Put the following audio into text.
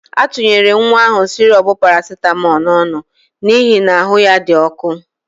A tunyere nwa ahụ sịrọp parasitamọl n'ọnụ n'ihi na ahụ ya dị ọkụ.